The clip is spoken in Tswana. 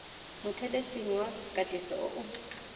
mothelesing wa katiso o o